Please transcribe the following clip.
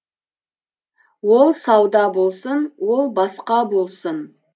ол сауда болсын ол басқа болсын